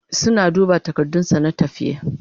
suna duba takardun sa na tafiya